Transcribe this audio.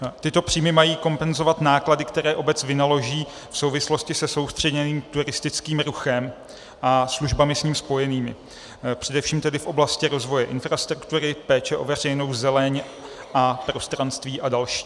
Tyto příjmy mají kompenzovat náklady, které obec vynaloží v souvislosti se soustředěným turistickým ruchem a službami s ním spojenými, především tedy v oblasti rozvoje infrastruktury, péče o veřejnou zeleň a prostranství a další.